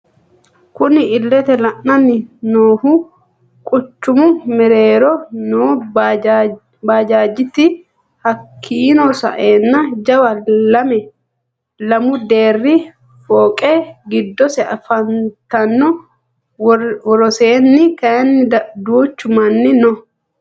Kunni illete leelani noohu quchumu mereerro noo bajajeti hakiino sa'eena jawa lamu Deere fooqe giddosi afantano woroseeni kayiini duuchu Mani no.